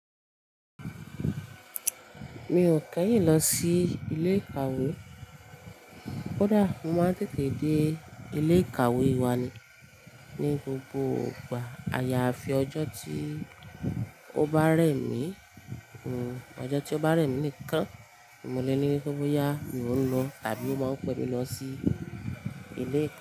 Mi ò kẹ́yìn lọ sí ilé ìkàwé. Kódà mo máa ń tètè dé ilé ìkàwé wa ni, ní gbogbo ìgbà. Àyàfi ọjọ́ tí ó bá rẹ̀ mí, ọjọ́ tí ó bá rẹ̀ mí nìkan mo lè ní wípe boya mo ń lọ tàbí ó máa ń pẹ́ mi lọ sí ilé ìkàwé.